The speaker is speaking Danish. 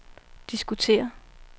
diskutere